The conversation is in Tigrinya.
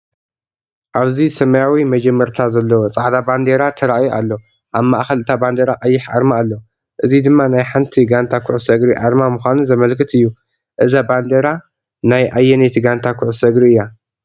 ኣብዚ ሰማያዊ መጀመርታ ዘለዎ ጻዕዳ ባንዴራ ተራእዩ ኣሎ። ኣብ ማእከል እታ ባንዴራ ቀይሕ ኣርማ ኣሎ። እዚ ድማ ናይ ሓንቲ ጋንታ ኩዕሶ እግሪ ኣርማ ምዃኑ ዘመልክት እዩ። እዛ ባንዴራ ናይ ኣየነይቲ ጋንታ ኩዕሶ እግሪ እያ?